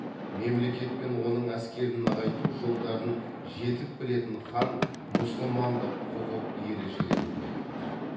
мемлекет пен оның әскерін нығайту жолдарын жетік білетін хан мұсылмандық құқық ережелерін бекітті